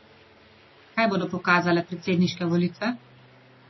Kaj bodo pokazale predsedniške volitve?